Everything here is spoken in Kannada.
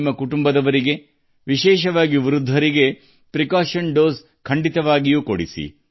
ನಿಮ್ಮ ಕುಟುಂಬದ ಸದಸ್ಯರು ವಿಶೇಷವಾಗಿ ವಯಸ್ಸಾದವರು ಮುನ್ನೆಚ್ಚರಿಕೆಯ ಡೋಸ್ ತೆಗೆದುಕೊಳ್ಳುವಂತೆ ಮಾಡಿ